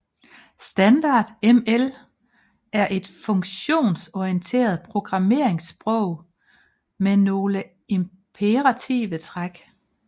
Standard ML er et funktionsorienteret programmeringssprog med nogle imperative træk